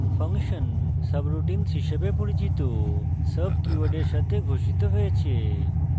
function subroutines হিসাবে পরিচিত sub কীওয়ার্ডের সাথে ঘোষিত হয়েছে